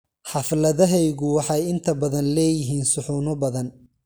Xafladahayagu waxay inta badan leeyihiin suxuuno badan.